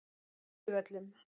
Furuvöllum